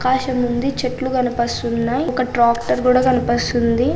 ఆకాశం ఉంది చెట్లు కనిపిస్తున్నాయి ఒక ట్రాక్టర్ కూడా కనిపిస్తుంది.